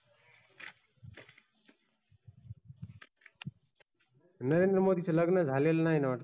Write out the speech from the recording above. नरेंद्र मोदीच लग्न झालेल नाही ना वाटत